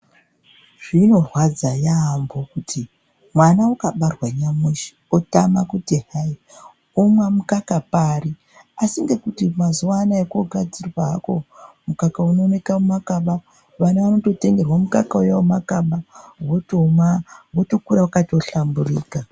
Zvinorwadza yaamho kuti mwana ukabarwa nyamushi wotama kuti hayi omwa mukaka pari asi ngekuti mazuwa anaya kwogadzirwa hako mukaka unomwika mumakaba, vana votengerwa mukaka uya wemumakaba otomwa otokura akahlamburika.